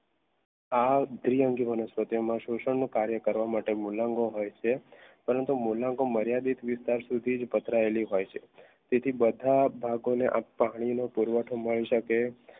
આ દ્વિઅંગી વનસ્પતિઓ શોષણ નું કાર્ય કરવા માટે મૂલાંગો હોય છે પરંતુ મૂલાંગો મર્યાદિત પથરાયેલી હોય છે તેથી બધા ભાગોને આપવા પાણીનો મળી શકે